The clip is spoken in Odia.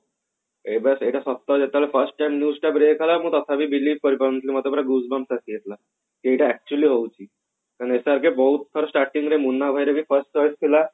ଏଟା ଏଟା ସପ୍ତାହେ ଯେତେବେଳେ first time କଲା ମୁଁ ତଥାପି believe କରି ପାରୁ ନଥିଲି ମତେ ପୁରା gush booms ଆସିଯାଉ ଥିଲା ଯୋଉଟା actually ହଉଛି SRK ବହୁତ ଥର starting ରେ ମୁନ୍ନା ଭାଇ ର ବି cross କରିଥିଲା